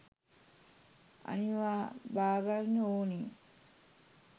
අනිවා බාගන්න ඕනි